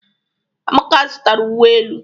Amaka zụtara uwe elu.